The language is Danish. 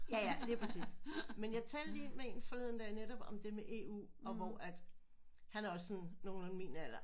Ja ja lige præcis men jeg talte lige med en forleden dag netop om det med EU og hvor at han er også sådan nogenlunde min alder